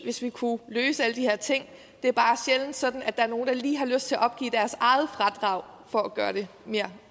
hvis vi kunne løse alle de her ting det er bare sjældent sådan at der er nogen der lige har lyst til at opgive deres eget fradrag for at gøre det mere